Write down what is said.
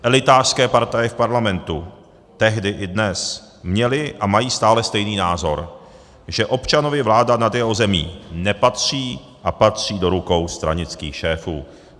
Elitářské partaje v parlamentu tehdy i dnes měly a mají stále stejný názor, že občanovi vláda nad jeho zemí nepatří a patří do rukou stranických šéfů.